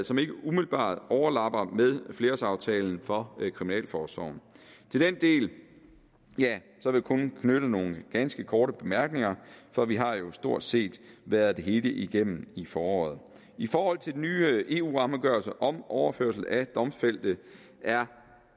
som ikke umiddelbart overlapper flerårsaftalen for kriminalforsorgen til den del vil jeg kun knytte nogle ganske korte bemærkninger for vi har jo stort set været det hele igennem i foråret i forhold til den nye eu rammeafgørelse om overførsel af domfældte er